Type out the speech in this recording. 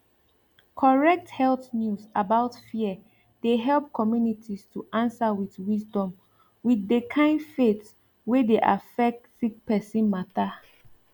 correct health news about fear de help communities to answer with wisdom with de kind faith wey de affec sick person matter